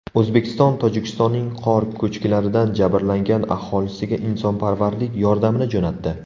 O‘zbekiston Tojikistonning qor ko‘chkilaridan jabrlangan aholisiga insonparvarlik yordamini jo‘natdi.